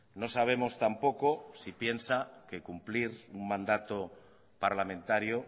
no sabemos tampoco si piensa que cumplir un mandato parlamentario